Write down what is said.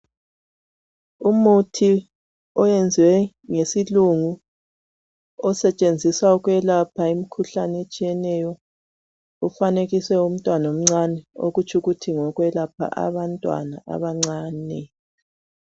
Umuthi oyenzwe ngesilungu osetshenziswa ukwelapha imkhuhlane etshiyeneyo ofanekiso yomntwana omncane okutshukuthi ngokwelapha abantwana abancane